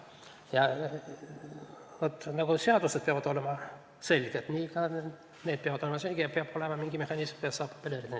Vaat nii, nagu seadused peavad olema selged, nii ka need peavad olema selged ja peab olema mingi selge mehhanism, et saaks apelleerida.